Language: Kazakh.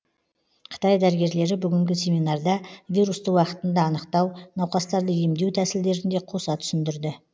қытай дәрігерлері бүгінгі семинарда вирусты уақытында анықтау науқастарды емдеу тәсілдерін де қоса түсіндірді